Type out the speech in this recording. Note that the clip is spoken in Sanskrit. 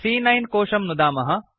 सी॰॰9 कोशं नुदामः